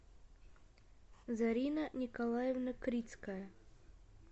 зарина николаевна крицкая